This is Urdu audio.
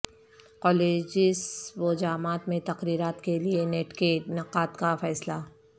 کالجس و جامعات میں تقررات کیلئے نیٹ کے انعقاد کا فیصلہ